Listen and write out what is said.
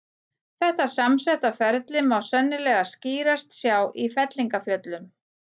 Þetta samsetta ferli má sennilega skýrast sjá í fellingafjöllum.